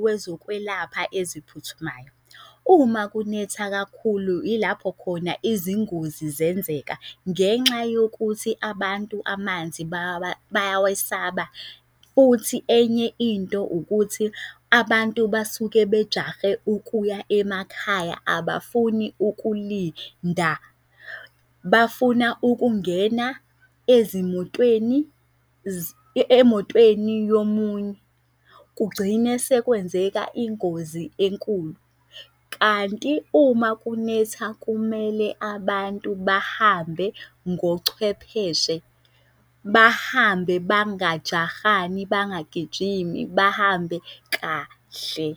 wezokwelapha eziphuthumayo. Uma kunetha kakhulu ilapho khona izingozi zenzeka ngenxa yokuthi abantu amanzi bayawesaba. Futhi enye into ukuthi abantu basuke bejahe ukuya emakhaya, abafuni ukulinda bafuna ukungena ezimotweni emotweni yomunye kugcine sekwenzeka ingozi enkulu. Kanti uma kunetha kumele abantu bahambe ngochwepheshe, bahambe bangajahani bangagijimi bahambe kahle,